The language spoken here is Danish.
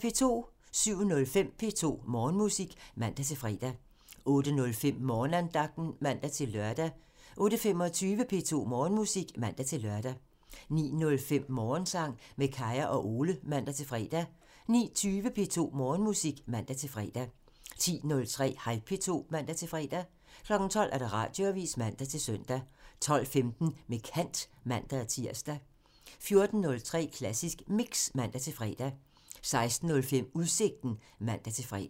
07:05: P2 Morgenmusik (man-fre) 08:05: Morgenandagten (man-lør) 08:25: P2 Morgenmusik (man-lør) 09:05: Morgensang med Kaya og Ole (man-fre) 09:20: P2 Morgenmusik (man-fre) 10:03: Hej P2 (man-fre) 12:00: Radioavisen (man-søn) 12:15: Med kant (man-tir) 14:03: Klassisk Mix (man-fre) 16:05: Udsigten (man-fre)